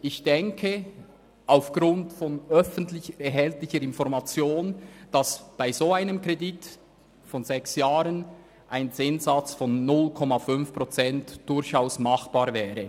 Ich denke aufgrund von öffentlich erhältlichen Informationen, dass bei einem solchen Kredit für sechs Jahre ein Zinssatz von 0,5 Prozent durchaus machbar wäre.